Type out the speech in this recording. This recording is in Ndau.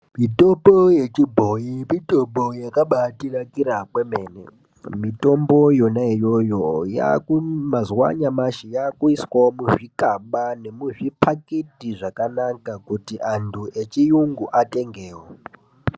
Mitombo yechibhoyi, mitombo yakabaatinakira kwemene. Mitombo yona iyoyo yaaku mumazuwa anyamashi yakuiswe muzvikaba nemuzviphakiti zvakanaka kuti anthu echiyungu atengewo.